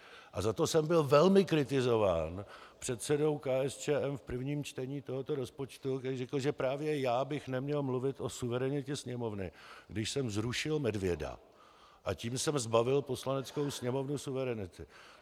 A za to jsem byl velmi kritizován předsedou KSČM v prvním čtení tohoto rozpočtu, který řekl, že právě já bych neměl mluvit o suverenitě Sněmovny, když jsem zrušil medvěda, a tím jsem zbavil Poslaneckou sněmovnu suverenity.